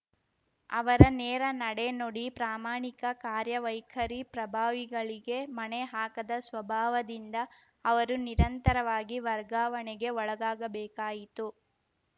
ಅವರ ನೇರ ನಡೆ ನುಡಿ ಪ್ರಾಮಾಣಿಕ ಕಾರ್ಯ ವೈಖರಿ ಪ್ರಭಾವಿಗಳಿಗೆ ಮಣೆಹಾಕದ ಸ್ವಭಾವದಿಂದ ಅವರು ನಿರಂತರವಾಗಿ ವರ್ಗಾವಣೆಗೆ ಒಳಗಾಗಬೇಕಾಯಿತು